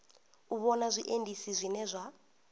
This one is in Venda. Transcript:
u vhona zwiendisi zwine zwa